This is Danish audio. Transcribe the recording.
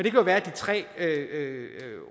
jo være at de tre